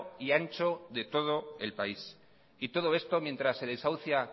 y ancho de todo el país y todo esto mientras se desahucia